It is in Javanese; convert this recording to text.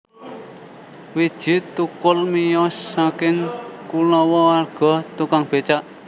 Widji Thukul miyos saking kulawarga tukang becak